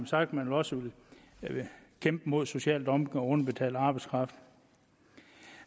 sagt at man også vil kæmpe mod social dumping og underbetalt arbejdskraft